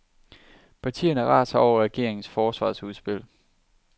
Partierne raser over regeringens forsvarsudspil.